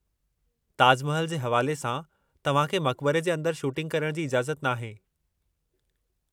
ताज महल जे हवाले सां, तव्हांखे मक़बरे जे अंदरु शूटिंग करण जी इजाज़त नाहे।